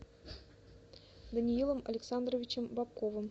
даниилом александровичем бобковым